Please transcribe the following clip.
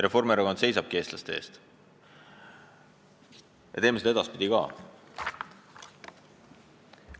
Reformierakond seisabki eestlaste eest ja me teeme seda edaspidi ka.